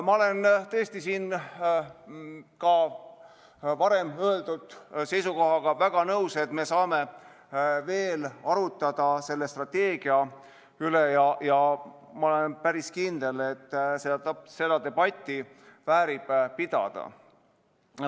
Ma olen siin ka varem öeldud seisukohaga tõesti väga nõus, et me saame veel selle strateegia üle arutleda, ja olen päris kindel, et seda debatti väärib pidada.